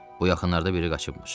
Bu yaxınlarda biri qaçıbmış.